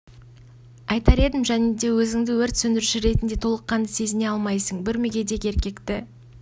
айтар едім және де өзіңді өрт сөндіруші ретінде толық қанды сезіне алмайсың бір мүгедек еркекті